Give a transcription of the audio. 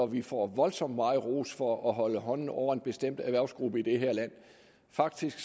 vi får voldsomt meget ros for at holde hånden over en bestemt erhvervsgruppe i det her land faktisk